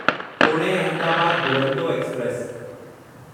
Pune Ahmedabad Duronto express